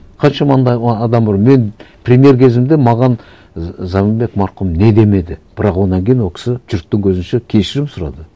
қаншама андай адам бар мен премьер кезімде маған заманбек марқұм не демеді бірақ одан кейін ол кісі жұрттың көзінше кешірім сұрады